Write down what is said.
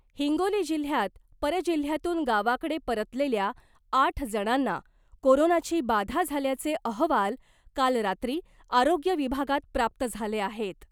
हिंगोली जिल्ह्यात परजिल्ह्यातून गावाकडे परतलेल्या आठ जणांना कोरोनाची बाधा झाल्याचे अहवाल काल रात्री आरोग्य विभागात प्राप्त झाले आहेत .